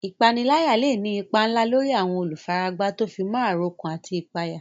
Ìpániláyà lè ní ipa ńlá lórí àwọn olùfaragbá tó fi mọ́ àròkán àti ìpayà.